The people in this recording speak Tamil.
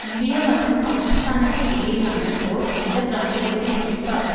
இந்தியா மற்றும் பாக்கிஸ்தானுக்கு இடையிலான போர் இந்த பிராந்தியத்தில் குறிப்பாக